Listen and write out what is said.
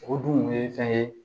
O dun ye fɛn ye